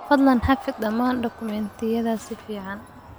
Fadlan xafid dhammaan dukumeentiyada si fican.